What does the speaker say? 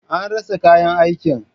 An rasa kayan aikin.